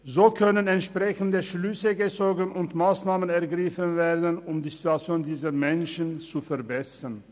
So können entsprechende Schlüsse gezogen und Massnahmen ergriffen werden, um die Situation dieser Menschen zu verbessern.